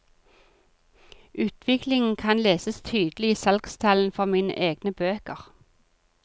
Utviklingen kan leses tydelig i salgstallene for mine egne bøker.